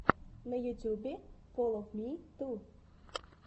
на ютьюбе фоловмиту